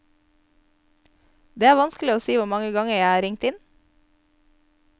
Det er vanskelig å si hvor mange ganger jeg har ringt inn.